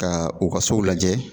Ka u ka sow lajɛ